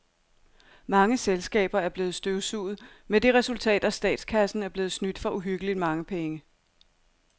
Mange selskaber er blevet støvsuget med det resultat, at statskassen er blevet snydt for uhyggeligt mange penge.